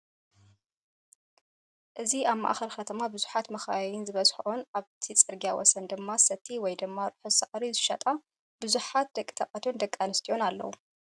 እዚ ኣብ ማእከል ከተማ ብዙሓት መካይን ዝበዝሐኦን ኣብቲ ፅርግያ ወሰን ድማ ሰቲ ወይ ድማ ርሑስ ሳዕሪ ዝሸጣ/ጡ ብዙሓት ደቂ ተባዕትየን ደቂ ኣነስትየ ኣለዉ፡፡